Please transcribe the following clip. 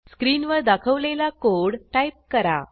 स्क्रीनवर दाखवलेला code type करा